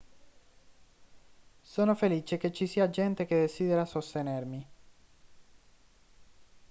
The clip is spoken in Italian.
sono felice che ci sia gente che desidera sostenermi